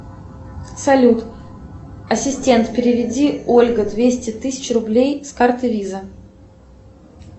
салют ассистент переведи ольга двести тысяч рублей с карты виза